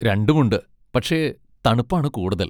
രണ്ടുമുണ്ട്, പക്ഷെ തണുപ്പാണ് കൂടുതൽ.